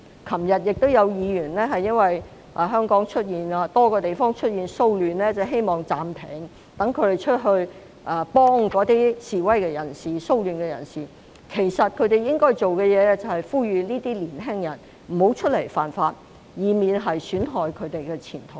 昨天亦有議員因為香港多處出現騷亂而希望暫停會議，讓他們去協助參與示威及騷亂的人士，但他們應該要做的事情，其實是要呼籲這些年輕人不要犯法，以免損害自身前途。